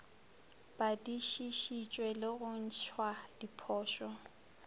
badišišitšwe le go ntšhwa diphošo